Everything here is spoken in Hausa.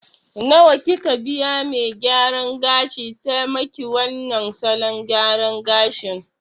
Nawa kika biya me gyaran gashin ta maki wannan salon gyaran gashin